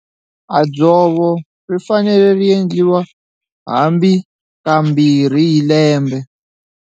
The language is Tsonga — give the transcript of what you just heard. A dzovo ri fanele ri endliwa hambi kambirhi hi lembe.